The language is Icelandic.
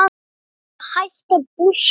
Ég er að hætta búskap.